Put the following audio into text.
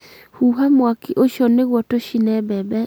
huha mwaki ũcio nĩguo tũcĩne mbembe.